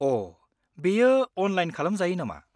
अ', बेयो अनलाइन खालामजायो नामा?